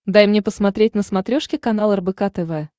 дай мне посмотреть на смотрешке канал рбк тв